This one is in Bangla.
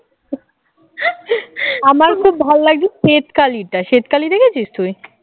আমার খুব ভালো লাগে শ্বেত কালী টা শ্বেতকালী দেখেছিস তুই?